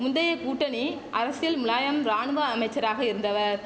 முந்தைய கூட்டணி அரசியல் முலாயம் ராணுவ அமைச்சராக இருந்தவர்